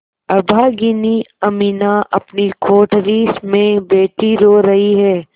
अभागिनी अमीना अपनी कोठरी में बैठी रो रही है